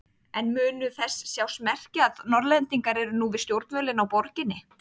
En munu þess sjást merki að Norðlendingar eru nú við stjórnvölinn á Borginni?